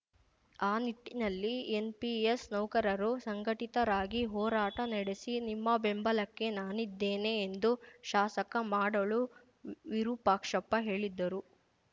ಆ ನಿಟ್ಟಿನಲ್ಲಿ ಎನ್‌ಪಿಎಸ್‌ ನೌಕರರು ಸಂಘಟಿತರಾಗಿ ಹೋರಾಟ ನಡೆಸಿ ನಿಮ್ಮ ಬೆಂಬಲಕ್ಕೆ ನಾನಿದ್ದೇನೆ ಎಂದು ಶಾಸಕ ಮಾಡಾಳು ವಿರೂಪಾಕ್ಷಪ್ಪ ಹೇಳಿದ್ದರು